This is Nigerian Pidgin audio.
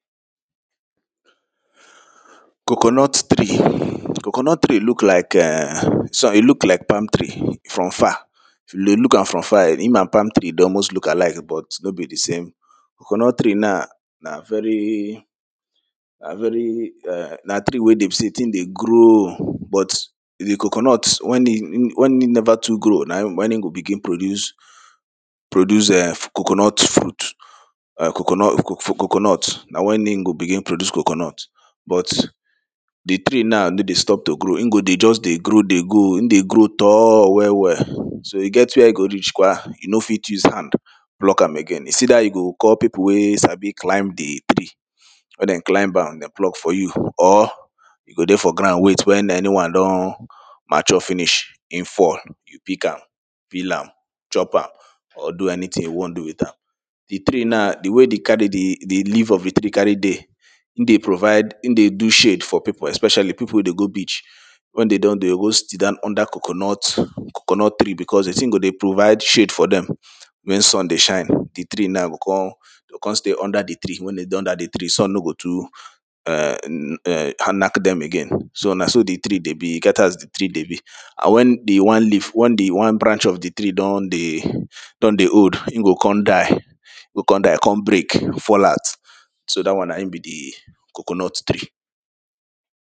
Coconut tree. Coconut tree look like eh e look like palm tree from far If you dey look am from far im and palm tree dey almost look alike but no be di same coconut tree na, na very, na very um na tree wey be sey di thing dey grow, but di coconut wen e never too grow na im go begin produce produce um coconut fruit, coconut na wen e go begin produce coconut but di tree na no dey stop to grow e go just dey grow dey go, e dey grow tall well well, so e get where e go reach kwa you no fit use hand pluck am again. Is either you go call pipo wey sabi climb di tree where dem climb am, dem pluck for you or you go dey for ground wait wen anyone don mature finish, im fall, you pick am, you peel am chop am or do anything you wan do with am Di tree na di way di leave of di tree carry dey im dey provide, im dey do shade for pipo especially pipo wey dey go beach wen dem don dey host dem under coconut coconut tree, becos di thing go dey provide shade for dem wen sun dey shine di tree na go come go come stay under di tree. Wen dey under di tree sun no go too um knack dem again. So na so di tree dey be, e get as di tree dey be and wen di one wen di one branch of di tree don dey old im go come die im go come die, come break fall out, so dat one na hin be di coconut tree.